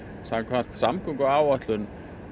samkvæmt samgönguáætlun